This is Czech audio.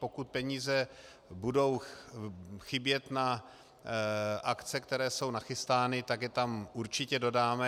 Pokud peníze budou chybět na akce, které jsou nachystány, tak je tam určitě dodáme.